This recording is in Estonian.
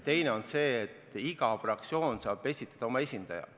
Teine on see, et iga fraktsioon saab esitada oma esindaja.